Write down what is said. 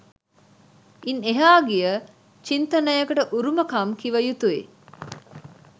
ඉන් එහා ගිය චින්තනයකට උරුමකම් කිව යුතු යි